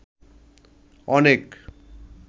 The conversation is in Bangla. অনেক